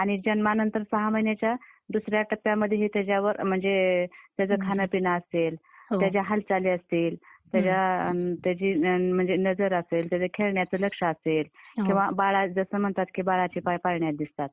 आणि जन्मानंतर सहा महिन्याच्या दुसऱ्या टप्प्यामध्ये हे त्याच्यावर, म्हणजे त्याचं खाण पिण असेल, त्याच्या हालचाली असतील, तर त्याची म्हणजे नजर असेल तर त्याच्या खेळण्यातल लक्ष असेल किंवा जसं म्हणतात की बाळाची पाय पाळण्यात दिसतात...